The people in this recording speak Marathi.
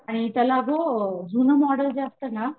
आणि त्याला जुनं मॉडेल जे असतना